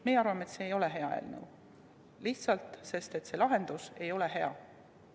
Meie arvame, et see ei ole hea eelnõu, lihtsalt seepärast, et see lahendus ei ole hea.